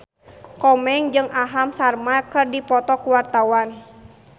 Komeng jeung Aham Sharma keur dipoto ku wartawan